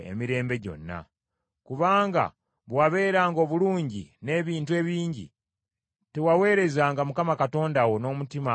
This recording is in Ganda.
Kubanga bwe wabeeranga obulungi n’ebintu ebingi, tewaweerezanga Mukama Katonda wo n’omutima ogujjudde essanyu.